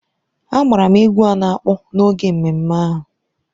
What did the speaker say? A gbara m egwú a na-akpọ n’oge ememme ahụ.